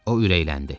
O ürəkləndi.